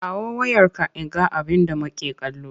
Kawo wayarka in ga abinda make kallo!